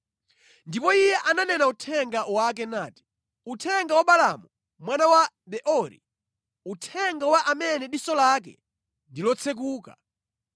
Ndipo iye ananena uthenga wake nati, “Uthenga wa Balaamu mwana wa Beori, uthenga wa amene diso lake ndi lotsekuka.